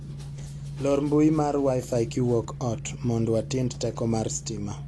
Lor mbui mar wifi kiwuok ot mond watind teko mar sitima.